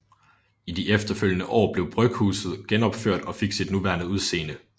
I de efterfølgende år blev bryghuset genopført og fik sit nuværende udseende